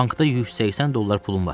Bankda 180 dollar pulum var.